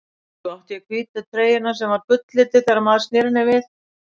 Svo átti ég hvítu treyjuna sem var gulllituð þegar maður sneri henni við.